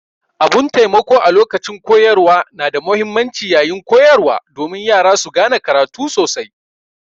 Abun taimako a lokacin koyarwa na da muhimmanci yaƴin koyarwa domin Yara su gane karatu sosai.